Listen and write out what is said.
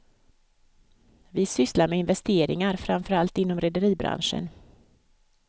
Vi sysslar med investeringar, framförallt inom rederibranscen.